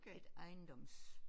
Et ejendoms